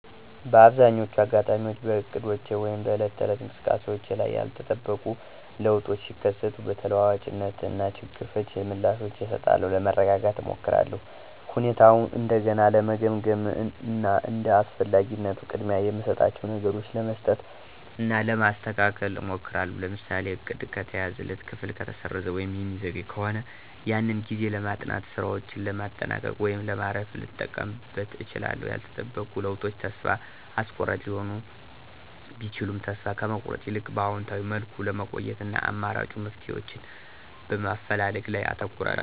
በአብዛኛዎቹ አጋጣሚዎች በእቅዶቼ ወይም በዕለት ተዕለት እንቅስቃሴዎቼ ላይ ያልተጠበቁ ለውጦች ሲከሰቱ በተለዋዋጭነት እና ችግር ፈቺ ምላሾችን እሰጣለሁ። ለመረጋጋት እሞክራለሁ፣ ሁኔታውን እንደገና ለመገምገም እና እንደ አስፈላጊነቱ ቅድሚያ የምሰጣቸውን ነገሮች ለመስጠት እና ለማስተካከል እሞክራለሁ። ለምሳሌ:- እቅድ ከተያዘለት ክፍል ከተሰረዘ ወይም የሚዘገይ ከሆነ ያንን ጊዜ ለማጥናት፣ ሥራዎችን ለማጠናቀቅ ወይም ለማረፍ ልጠቀምበት እችላለሁ። ያልተጠበቁ ለውጦች ተስፋ አስቆራጭ ሊሆኑ ቢችሉም ተስፋ ከመቁረጥ ይልቅ በአዎንታዊ መልኩ ለመቆየት እና አማራጭ መፍትሄዎችን በማፈላለግ ላይ አተኩራለሁ።